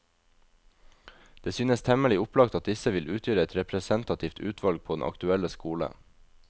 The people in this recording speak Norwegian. Det synes temmelig opplagt at disse vil utgjøre et representativt utvalg på den aktuelle skole.